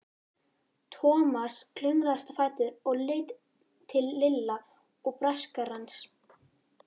Thomas klöngraðist á fætur og leit til Lilla og Braskarans.